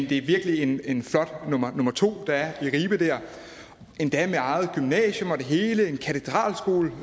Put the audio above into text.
det er virkelig en en flot nummer to der er i ribe endda med eget gymnasium og det hele en katedralskole